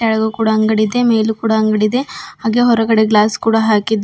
ಕೆಳಗೂ ಕೂಡ ಅಂಗಡಿದೆ ಮೇಲೂ ಕೂಡ ಅಂಗಡಿ ಇದೆ ಹಾಗೆ ಹೊರಗಡೆ ಗ್ಲಾಸ್ ಕೂಡ ಹಾಕಿದ್ದಾ --